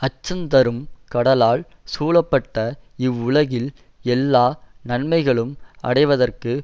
அச்சந்தரும் கடலால் சூழப்பட்ட இவ்வுலகில் எல்லா நன்மைகளும் அடைவதற்கு